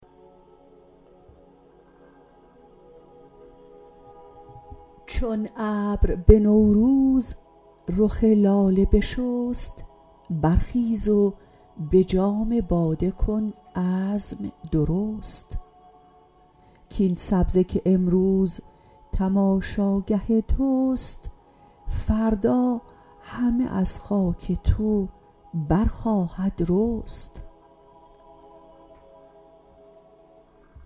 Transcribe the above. چون ابر به نوروز رخ لاله بشست برخیز و به جام باده کن عزم درست کاین سبزه که امروز تماشاگه توست فردا همه از خاک تو برخواهد رست